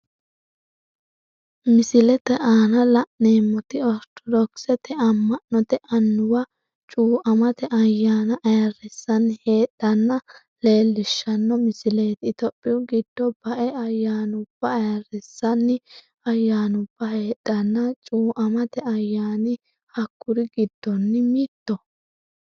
Misilete aanna la'neemoti ortodokisete ama'note annuwa cuuamate ayaanna ayirisanni heedheenna leelishano misileeti itophiyu gido bae ayaanuba ayirisanni ayaanuba heedhanna cuuamate ayaanni hakuri gidonni mittoho.